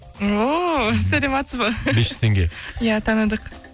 ооо саламатсыз ба бес жүз теңге ия таныдық